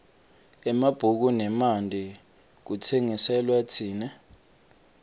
emabhuku nemanti kutsengiselwa tsine